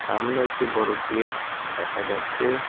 সামনে একটি বড় গেট দেখা যাচ্ছে।